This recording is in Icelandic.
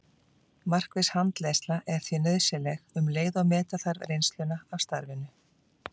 Markviss handleiðsla er því nauðsynleg um leið og meta þarf reynsluna af starfinu.